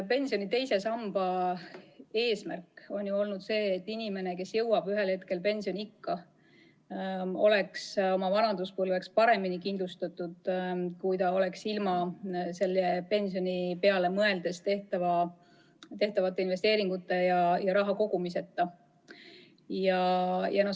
Pensioni II samba eesmärk on olnud ikkagi see, et inimene, kes jõuab ühel hetkel pensioniikka, oleks vanaduspõlveks kindlustatud paremini, kui ta oleks ilma pensioni peale mõeldes tehtud investeeringuteta ja raha kogumiseta.